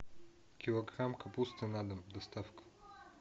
килограмм капусты на дом доставка